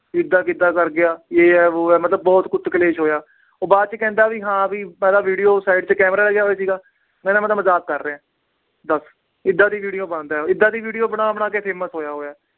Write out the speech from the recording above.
ਵੀ ਇਦਾ ਕਿਦਾ ਕਰ ਗਿਆ, ਯੇ ਆ, ਬੋ ਆ, ਮਤਲਬ ਬਹੁਤ ਕੁੱਤ ਕਲੇਸ਼ ਹੋਇਆ। ਉਹ ਬਾਅਦ ਚ ਕਹਿੰਦਾ ਮੈਂ ਵੀ video ਤੇ camera ਲੱਗਿਆ ਹੋਇਆ ਸੀਗਾ। ਕਹਿੰਦਾ ਮੈਂ ਤਾਂ ਮਜਾਕ ਕਰ ਰਿਹਾ। ਦੱਸ। ਇਦਾ ਦੀ video ਪਾਂਦਾ। ਇਦਾਂ ਦੀ video ਬਣਾ-ਬਣਾ ਕੇ famous ਹੋਆ ਹੋਇਆ।